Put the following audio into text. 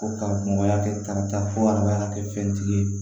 Ko karamɔgɔya kɛtarata fɔ hadamadenya kɛfɛntigi ye